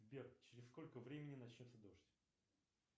сбер через сколько времени начнется дождь